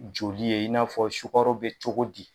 Joli ye in'a fɔ sukaro be cogo di